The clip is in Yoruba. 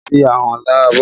Má fi ahọ́n lá abọ́!